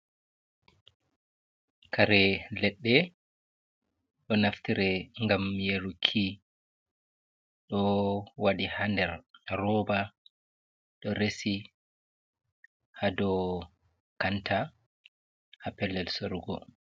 Kare leɗɗe ɗo naftire ngam yaruki. Ɗo waɗi ha nder roba ɗo resi ha dow kanta ha pellel sorugo.